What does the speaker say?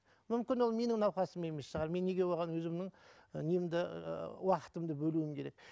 мүмкін ол менің науқасым емес шығар мен неге оған өзімнің і немді ыыы уақытымды бөлуім керек